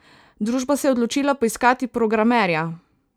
Družba se je odločila poiskati programerja.